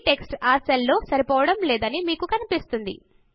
ఈ టెక్స్ట్ ఆ సెల్ లో సరిపోవడము లేదని మీకు కనిపిస్తుంది